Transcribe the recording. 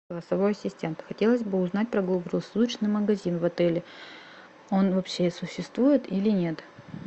голосовой ассистент хотелось бы узнать про круглосуточный магазин в отеле он вообще существует или нет